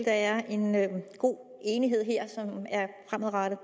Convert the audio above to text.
er en god fremadrettet